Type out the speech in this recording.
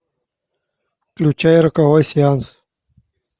включай роковой сеанс